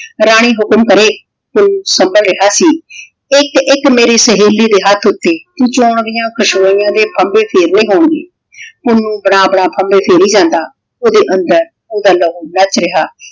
ਰਾਣੀ ਹੁਕਮ ਕਰੇ ਪੁੰਨੂੰ ਸੰਭਲ ਰਿਹਾ ਸੀ। ਇੱਕ ਇੱਕ ਮੇਰੀ ਸਹੇਲੀ ਦੇ ਹੱਥ ਉੱਤੇ ਜੌਆਂ ਦੀਆਂ ਖੁਸ਼ਬੋਈਆਂ ਦੇ ਫੰਬੇ ਫੇਰਨੇ ਹੋਣਗੇ। ਪੁੰਨੂੰ ਬਣਾ ਬਣਾ ਫੰਭੇ ਫੇਰੀ ਜਾਂਦਾ ਉਹਦੇ ਅੰਦਰ ਉਹਦਾ ਲਹੂ ਨੱਚ ਰਿਹਾ।